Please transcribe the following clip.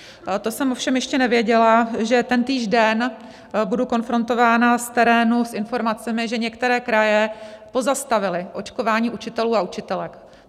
To jsem ovšem ještě nevěděla, že tentýž den budu konfrontována z terénu s informacemi, že některé kraje pozastavily očkování učitelů a učitelek.